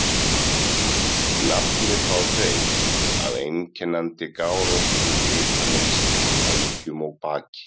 Nafnið fá þeir af einkennandi gáróttu litamynstri á vængjum og baki.